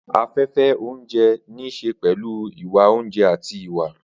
Afẹ́fẹ́ oúnjẹ ní í ṣe pẹ̀lú ìwà oúnjẹ àti ìwà.